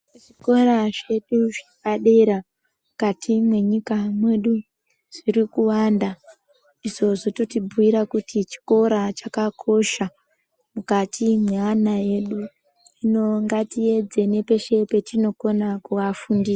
Zvikora zvedu zvepadera mukati mwenyika mwedu zvirikuwanda izvo zvototibhiira kuti chikora chakakosha mukati mweana edu hino ngatiedze nepeshe patinokona kuafundisa.